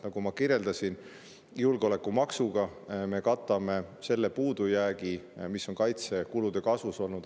Nagu ma kirjeldasin, julgeolekumaksuga me katame selle puudujäägi, mis on kaitsekulude kasvus olnud.